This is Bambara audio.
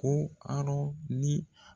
Ko Arɔn ni